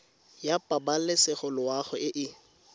ya pabalesego loago e e